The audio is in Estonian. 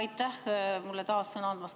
Aitäh mulle taas sõna andmast!